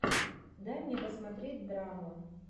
дай мне посмотреть драму